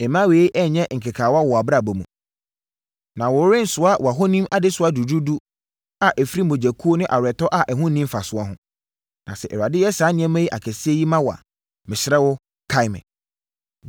mma yei nnyɛ nkekaawa wɔ wʼabrabɔ mu. Na worensoa wʼahonim adesoa duruduru a ɛfiri mogyakaguo ne aweretɔ a ɛho nni mfasoɔ ho. Na sɛ Awurade yɛ saa nneɛma akɛseɛ yi ma wo a, mesrɛ wo, kae me!”